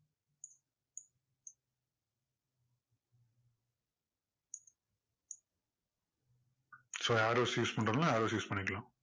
so arrows use பண்றதுன்னா arrows use பண்ணிக்கலாம்.